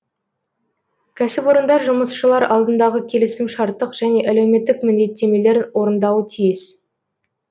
кәсіпорындар жұмысшылар алдындағы келісімшарттық және әлеуметтік міндеттемелерін орындауы тиіс